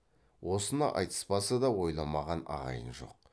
осыны айтыспаса да ойламаған ағайын жоқ